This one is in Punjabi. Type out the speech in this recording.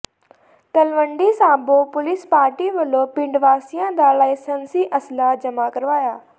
ਤਲਵੰਡੀ ਸਾਬੋ ਪੁਲਿਸ ਪਾਰਟੀ ਵੱਲੋਂ ਪਿੰਡ ਵਾਸੀਆਂ ਦਾ ਲਾਇਸੰਸੀ ਅਸਲ੍ਹਾ ਜਮ੍ਹਾਂ ਕਰਵਾਇਆ